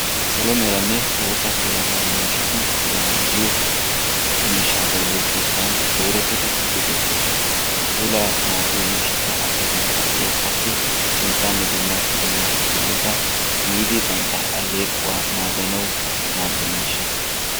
Saalo meerane bootaa puulaa naagiyo miishshati puulaa naagiyo miishsha bayzziyo keettan dooretidi issipe betosona. Ha puulaa naagiyo miishshata asaay bantta aleeqquwassi sinttane dumma bolaa kifileta tiyidi bantta aleequwa naaganawu maadiya miishsha.